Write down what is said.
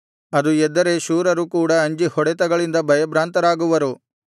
ಅದು ಎದ್ದರೆ ಶೂರರು ಕೂಡ ಅಂಜಿ ಹೊಡೆತಗಳಿಂದ ಭಯಭ್ರಾಂತರಾಗುವರು